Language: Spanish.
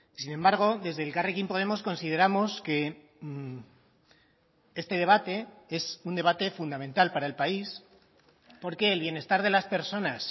sin embargo desde elkarrekin podemos consideramos que este debate es un debate fundamental para el país porque el bienestar de las personas